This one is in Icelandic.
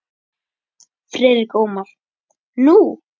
Friðrik Ómar: Nú?